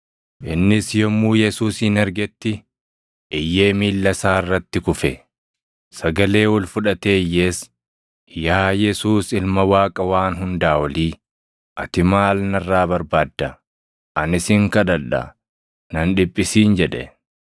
Innis yommuu Yesuusin argetti iyyee miilla isaa irratti kufe; sagalee ol fudhatee iyyees, “Yaa Yesuus Ilma Waaqa Waan Hundaa Olii, ati maal narraa barbaadda? Ani sin kadhadha; na hin dhiphisin!” jedhe.